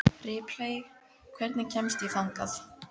Ripley, hvernig kemst ég þangað?